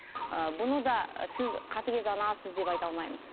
і бұны да сіз қатігез анасыз деп айта алмаймыз